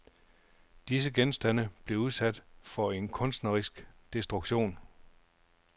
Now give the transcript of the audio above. Disse genstande blev udsat for en kunstnerisk destruktion.